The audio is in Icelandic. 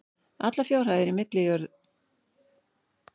Allar fjárhæðir í milljörðum króna og áætlaðar greiðslur skáletraðar.